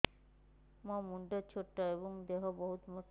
ମୋ ମୁଣ୍ଡ ଛୋଟ ଏଵଂ ଦେହ ବହୁତ ମୋଟା